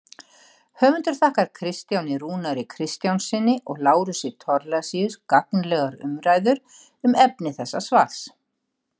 Höfundur þakkar Kristjáni Rúnari Kristjánssyni og Lárusi Thorlacius gagnlegar umræður um efni þessa svars.